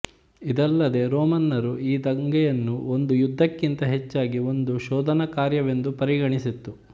ಇದಲ್ಲದೆ ರೋಮನ್ನರು ಈ ದಂಗೆಯನ್ನು ಒಂದು ಯುದ್ಧಕ್ಕಿಂತ ಹೆಚ್ಚಾಗಿ ಒಂದು ಶೋಧನಾಕಾರ್ಯವೆಂದು ಪರಿಗಣಿಸಿತ್ತು